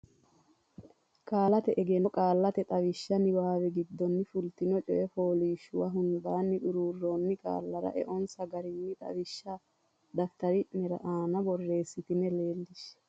Qaallate Egenno Qaallate Xawishsha niwaawe giddonni fultino coy fooliishshuwa hundaanni xuruurroonni qaallara eonsa garinni xawishsha daftari ne aana borreessitine leellishshe.